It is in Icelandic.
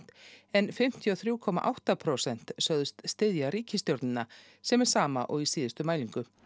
en fimmtíu og þrjú komma átta prósent sögðust styðja ríkisstjórnina sem er sama og í síðustu mælingu